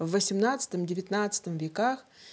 в восемнадцатом девятнадцатом веках